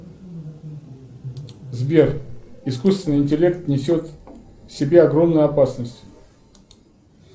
сбер искусственный интеллект несет в себе огромную опасность